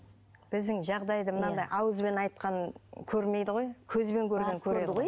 біздің жағдайды мынадай ауызбен айтқан көрмейді ғой көзбен көрген